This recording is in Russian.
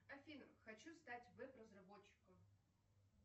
афина хочу стать веб разработчиком